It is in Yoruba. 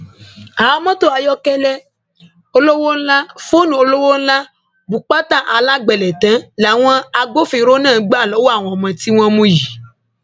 àwọn mọtò ayọkẹlẹ olówó ńlá fóònù olówó ńlá bùpàtà alágbẹlẹ̀tẹ́ làwọn agbófinró náà gbà lọwọ àwọn tí wọn mú yìí